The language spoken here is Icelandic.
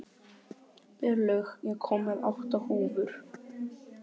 Berglaug, ég kom með átta húfur!